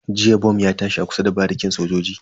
Jiya bom ya tashi a kusa da barikin sojoji.